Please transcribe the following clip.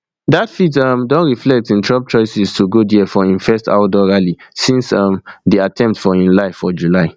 dat fit um don reflect in trump choice to go dia for im first outdoor rally since um di attempt on im life for july